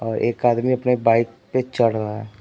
और एक आदमी अपने बाइक पे चढ़ रहा है।